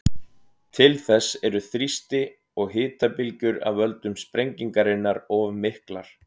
Til þess eru þrýsti- og hitabylgjur af völdum sprengingarinnar of miklar.